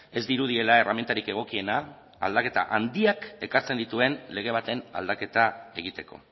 ez dirudiela erremintarik egokiena aldaketa handiak ekartzen dituen lege baten aldaketa egiteko